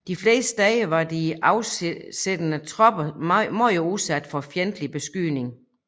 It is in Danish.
De fleste steder var de afsiddede tropper meget udsat for fjendtlig beskydning